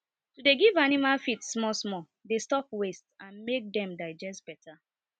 to dey give animal feed small small dey stop waste and make dem digest better